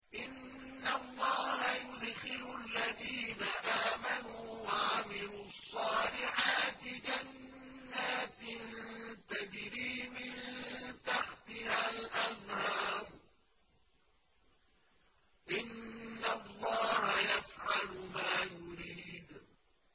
إِنَّ اللَّهَ يُدْخِلُ الَّذِينَ آمَنُوا وَعَمِلُوا الصَّالِحَاتِ جَنَّاتٍ تَجْرِي مِن تَحْتِهَا الْأَنْهَارُ ۚ إِنَّ اللَّهَ يَفْعَلُ مَا يُرِيدُ